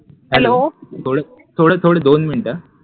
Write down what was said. hello थोडं थोडं दोन मिनिटं हा